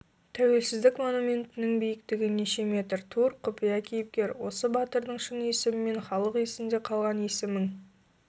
тәуелсіздік монументінің биіктігі неше метр тур құпия кейіпкер осы батырдың шын есімімен халық есінде қалған есімің